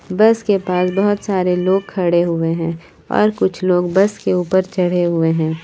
बस के पास बहुत सारे लोग खड़े हुए हैं और कुछ लोग बस के ऊपर चढ़े हुए हैं।